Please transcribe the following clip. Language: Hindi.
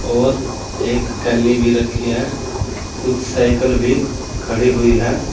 और एक कैनी भी रखी है कुछ साइकिल भी खड़ी हुई है।